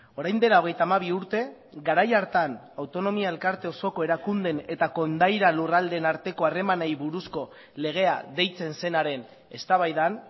orain dela hogeita hamabi urte garai hartan autonomia elkarte osoko erakundeen eta kondaira lurraldeen arteko harremanei buruzko legea deitzen zenaren eztabaidan